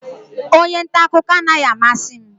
Onye nta akụkọ anaghị amasị m